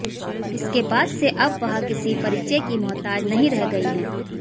इसके बाद से अब वह किसी परिचय की मोहताज नहीं रह गई हैं